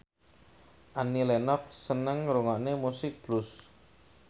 Annie Lenox seneng ngrungokne musik blues